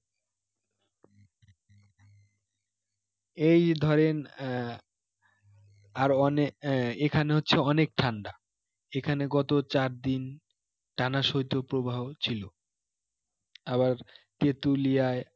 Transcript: এই ধরেন আহ আহ এখানে হচ্ছে অনেক ঠান্ডা এখানে গত চারদিন টানা শৈতপ্রবাহ ছিল আবার তেঁতুলিয়ায়